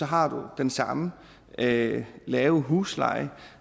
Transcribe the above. har den samme lave lave husleje